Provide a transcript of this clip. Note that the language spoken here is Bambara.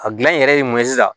A gilan in yɛrɛ ye mun ye sisan